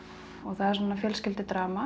og það er svona